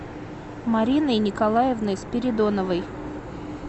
мариной николаевной спиридоновой